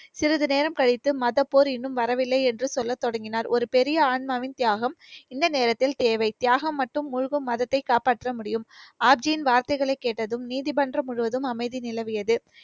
சிறிது நேரம் கழித்து மதப்போர் இன்னும் வரவில்லை என்று சொல்ல தொடங்கினார். ஒரு பெரிய ஆன்மாவின் தியாகம் இந்த நேரத்தில் தேவை. தியாகம் மற்றும் மூழ்கும் மதத்தை காப்பாற்ற முடியும். ஆர்ஜியின் வார்த்தைகளை கேட்டதும், நீதிமன்றம் முழுவதும் அமைதி நிலவியது.